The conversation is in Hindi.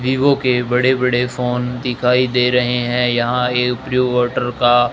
वीवो के बड़े बड़े फोन दिखाई दे रहे हैं यहां एक प्योर वॉटर का--